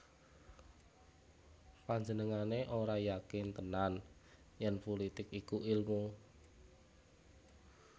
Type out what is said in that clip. Panjenengané ora yakin tenan yèn pulitik iku ilmu